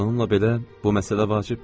Bununla belə, bu məsələ vacibdir.